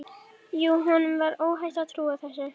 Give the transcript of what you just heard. Jú, honum var óhætt að trúa þessu!